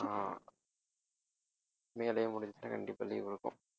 ஆஹ் மே லேயே முடிஞ்சிச்சுனா கண்டிப்பா leave இருக்கும்